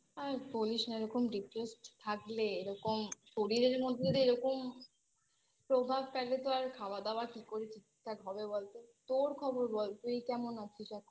আর বলিস না এরকম Depressed থাকলে এরকম শরীরের মধ্যে যদি এরকম প্রভাব থাকে তো আর খাওয়া দাওয়া কি করে ঠিক থাকে হবে বলতো তোর খবর বল তুই কেমন আছিস এখন